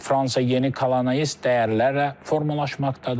Fransa yeni kolonialist dəyərlərlə formalaşmaqdadır.